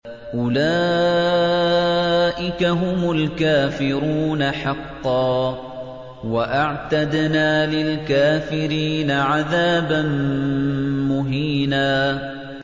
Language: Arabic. أُولَٰئِكَ هُمُ الْكَافِرُونَ حَقًّا ۚ وَأَعْتَدْنَا لِلْكَافِرِينَ عَذَابًا مُّهِينًا